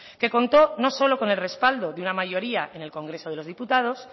que contó no solo con el respaldo de una mayoría en el congreso de los diputados